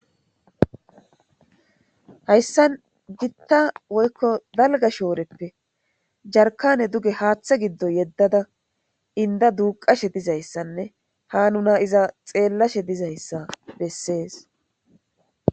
Hayssan gitta woykko dalga shooreppe jarkane duge haaththe giddo yeddada inda duuqashe dizayssanne ha nuna iza xeellashe dizayssa bessees.